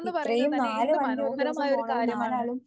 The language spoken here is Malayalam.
ഇത്രയും നാലും അഞ്ചും ഒരുദിവസം പോണത് നാലാളും